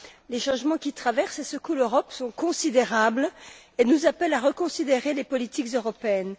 Les changements qui traversent et secouent l'Europe sont considérables et nous appellent à reconsidérer les politiques européennes.